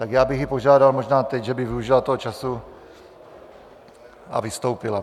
Tak já bych ji požádal možná teď, že by využila toho času a vystoupila.